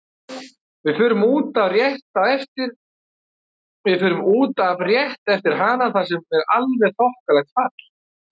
Við förum út af rétt eftir hana þar sem er alveg þokkalegt fall.